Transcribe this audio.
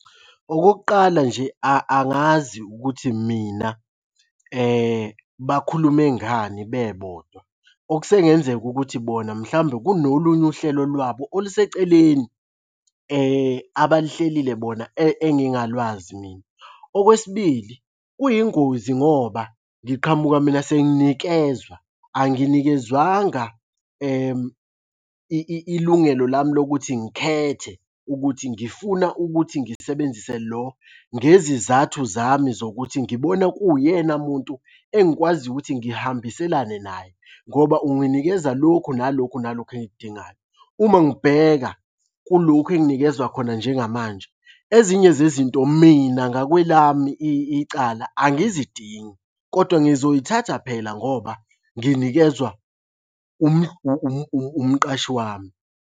Okokuqala, nje angazi ukuthi mina bakhulume ngani bebodwa. Okusengenzeka ukuthi bona mhlawumbe kunolunye uhlelo lwabo oluseceleni abaluhlelile bona engingalwazi mina. Okwesibili, kuyingozi ngoba ngiqhamuka mina senginikezwa, anginikezwanga ilungelo lami lokuthi ngikhethe ukuthi ngifuna ukuthi ngisebenzise lo ngezizathu zami zokuthi ngibona kuwuyena muntu engikwaziyo ukuthi ngihambiselane naye, ngoba unginikeza lokhu nalokhu nalokhu engikudingayo. Uma ngibheka kulokhu enginikezwa khona njengamanje, ezinye zezinto mina ngakwelami icala angizidingi kodwa ngizoyithatha phela ngoba nginikezwa umqashi wami.